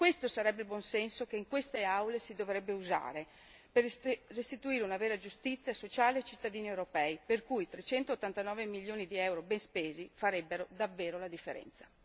Questo sarebbe il buon senso che in queste Aule si dovrebbe usare, per restituire una vera giustizia sociale ai cittadini europei per i quali 389 milioni di euro ben spesi farebbero davvero la differenza.